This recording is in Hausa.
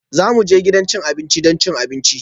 Za mu je gidan cin abinci don cin abinci